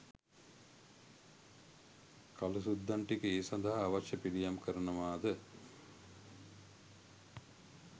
කලූ සුද්දන් ටික ඒ සඳහා අවශ්‍ය පිළියම් කරනවාද